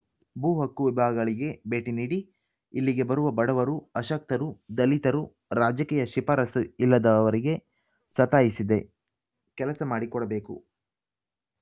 ಭೂ ಹಕ್ಕು ವಿಭಾಗಗಳಿಗೆ ಭೇಟಿ ನೀಡಿ ಇಲ್ಲಿಗೆ ಬರುವ ಬಡವರು ಅಶಕ್ತರು ದಲಿತರು ರಾಜಕೀಯ ಶಿಫಾರಸು ಇಲ್ಲದವರಿಗೆ ಸತಾಯಿಸದೆ ಕೆಲಸ ಮಾಡಿಕೊಡಬೇಕು